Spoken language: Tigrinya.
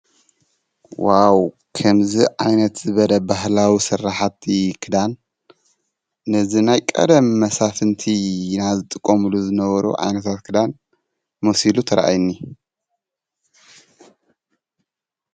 ዋው ኸምዝ ዓይነት በደ ባህላዊ ሠራሓቲ ክዳን ነዝ ናይ ቀደም መሳፍንቲ ናዝጥቆምሉ ዘነበሩ ኣይነታት ክዳን ሞሲሉ ተረአይኒ።